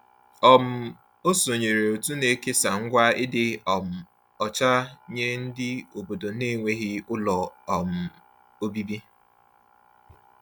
um O sonyeere òtù na-ekesa ngwa ịdị um ọcha nye ndị obodo n'enweghị ụlọ um obibi.